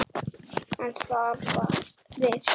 En þar við sat.